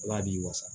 Ala b'i wasa